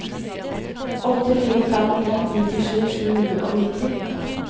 åtte fire fem en nittisju sju hundre og nitti